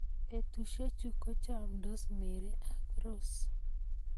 betusiechu kochamndos mary ak rose